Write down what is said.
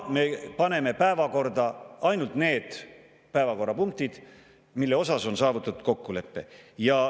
Me paneme päevakorda ainult need päevakorrapunktid, milles on saavutatud kokkulepe.